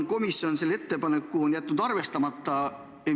Komisjon on selle ettepaneku jätnud arvestamata.